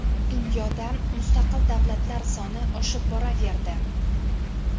Dunyoda mustaqil davlatlar soni oshib boraverdi.